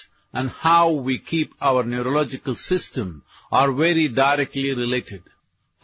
audio